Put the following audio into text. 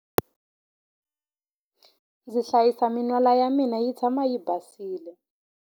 Ndzi hlayisa min'wala ya mina yi tshama yi basile.